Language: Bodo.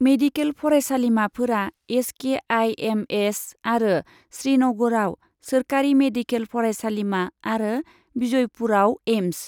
मेडिकेल फरायसालिमाफोरा S K I M S आरो श्रीनगरआव सोरखारि मेडिकेल फरायसालिमा आरो विजयपुराव एइम्स।